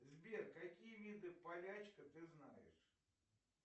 сбер какие виды полячка ты знаешь